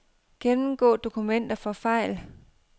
Gennemgå dokumenter for fejl.